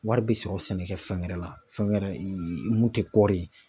Wari bɛ sɔrɔ sɛnɛkɛ fɛn wɛrɛ la fɛn wɛrɛ mun tɛ kɔɔri ye.